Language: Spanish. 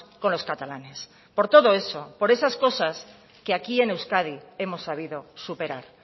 con los catalanes por todo eso por esas cosas que aquí en euskadi hemos sabido superar